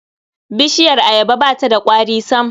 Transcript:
Bishiyar ayaba ba ta da ƙwari sam.